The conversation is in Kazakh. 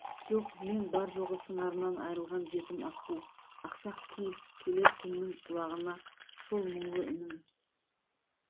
жоқ мен бар-жоғы сыңарынан айрылған жетім аққу ақсақ киік келер күннің құлағына сол мұңлы үнім